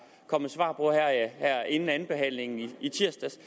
kom svar inden andenbehandlingen i tirsdags